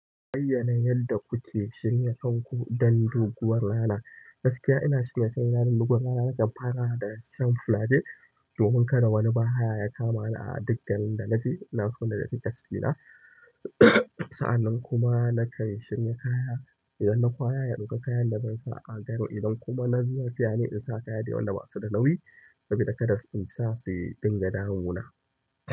Bayyana yanda kuke shirya kanku don doguwar rana? Gaskiya ina shirya kaina don doguwar rana, nakan fara daga shan flajel domin kada wani bahaya ya kamani a duk garin da na je. Ina so na riƙe cikina na sa'annan kuma nakan shirya kaya. Idan na kwaya, na ɗauka kayan da zan sa a. Idan kuma na zuba fiyane in sa kaya dai wanda basu da nauyi saboda kada in sa su dinga damu na.